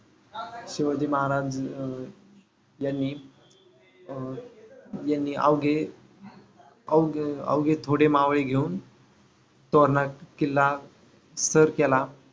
शिवाजी महाराज अं यांनी अं यांनी अवघे अवघे अवघे थोडे मावळे घेऊन तोरणा किल्ला सर केला.